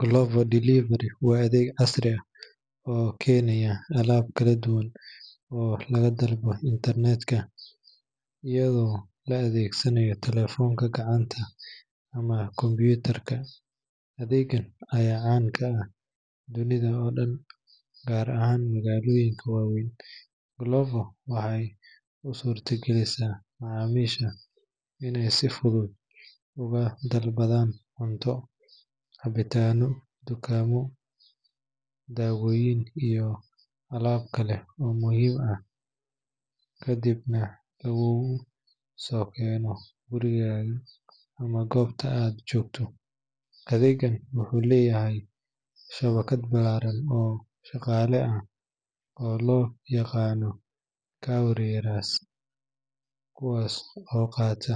Glovo delivery waa adeeg casri ah oo keenaya alaabo kala duwan oo laga dalbado internet-ka iyadoo la adeegsanayo taleefanka gacanta ama kombiyuutarka, adeeggan ayaa caan ka noqday dunida oo dhan, gaar ahaan magaalooyinka waaweyn. Glovo waxay u suurtagelisaa macaamiisha inay si fudud uga dalbadaan cunto, cabitaanno, dukaamo, daawooyin, iyo alaabo kale oo muhiim ah, kadibna laguugu soo keeno gurigaaga ama goobta aad joogto. Adeeggan wuxuu leeyahay shabakad ballaaran oo shaqaale ah oo loo yaqaan couriers, kuwaas oo qaata